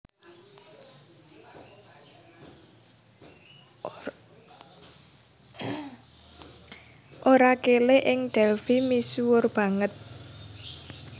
Orakelé ing Delphi misuwur banget